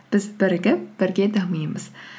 біз бірігіп бірге дамимыз